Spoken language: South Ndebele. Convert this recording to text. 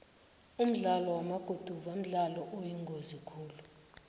umdlalo wamaguduva mdlalo oyingozi khulu